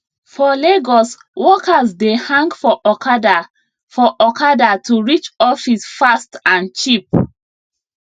for lagos workers dey hang for okada for okada to reach office fast and cheap